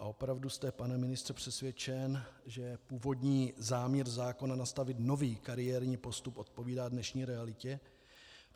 A opravdu jste, pane ministře, přesvědčen, že původní záměr zákona nastavit nový kariérní postup odpovídá dnešní realitě?